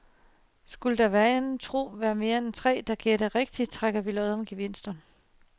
Skulle der vanen utro være flere end tre, der gætter rigtigt, trækker vi lod om gevinsterne.